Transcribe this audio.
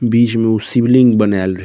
बीच में उ शिवलिंग बनाएल रहे।